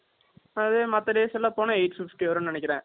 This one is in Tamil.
அதாவது, மத்த days எல்லாம் போனா, eight fifty வரும்ன்னு நினைக்கிறேன்